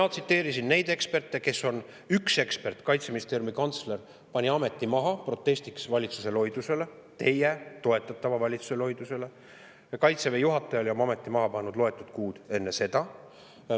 Mina tsiteerisin eksperte, kellest üks, Kaitseministeeriumi kantsler, pani ameti maha protestiks valitsuse loiduse vastu, teie toetatava valitsuse loiduse vastu, ja Kaitseväe juhataja oli oma ameti maha pannud loetud kuud enne seda.